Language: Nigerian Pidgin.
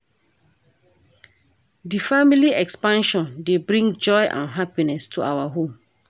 Di family expansion dey bring joy and happiness to our home.